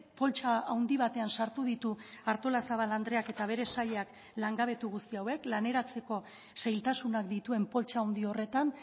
poltsa handi batean sartu ditu artolazabal andreak eta bere sailak langabetu guzti hauek laneratzeko zailtasunak dituen poltsa handi horretan